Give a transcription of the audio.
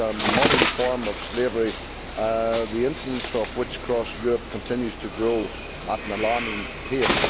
This is a modern form of slavery, the incidence of which across Europe continues to grow at an alarming pace.